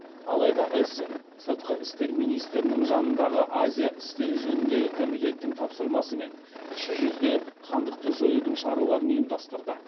алайда эссен сыртқы істер министірінің жанындағы азия істері жөніндегі комитеттің тапсырмасымен кіші жүзде хандықты жоюдың шараларын ұйымдастырды